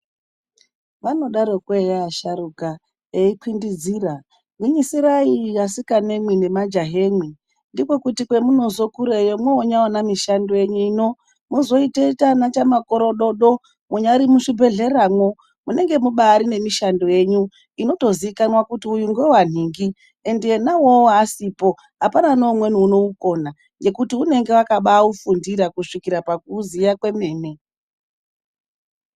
Vanodaroko eya asharuka eikwindidzira, gwinyisirai asikanemwi nemajahemwi. Ndiko kuti kwemunozokureyo mwoonyaona mishando yenyu ino, mozotoita ana chamakorododo munyari muzhibhedhleramwo. Munenge mubaari nemishando yenyu inotoziikanwa kuti uyu ngewanhingi. Endi ena uwowo asipo, apana neumweni unoukona. Ngekuti unenge akabaaufundira kusvikira pakuuziya kwemene.